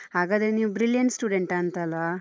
ಹಾಗಾದ್ರೆ ನೀವ್ brilliant student ಆ ಅಂತ ಅಲ್ವಾ?